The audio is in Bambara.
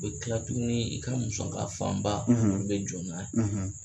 U bɛ kila tuguni i ka musaka fanba u bɛ jɔ n'a ye.